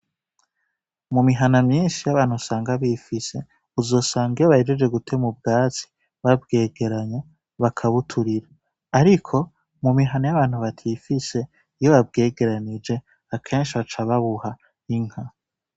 Mumihana myinshi y' abantu usanga bifise uzosanga iyo bahejeje gutema ubwatsi babwegeranya bakabuturira ariko mumihana y' abantu batifise akenshi baca babuha inka.